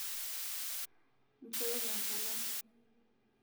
nchooki enkalem